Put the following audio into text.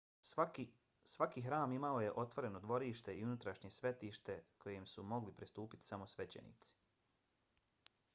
svaki hram imao je otvoreno dvorište i unutrašnje svetište kojem su mogli pristupiti samo svećenici